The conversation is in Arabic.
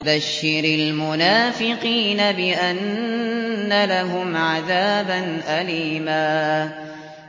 بَشِّرِ الْمُنَافِقِينَ بِأَنَّ لَهُمْ عَذَابًا أَلِيمًا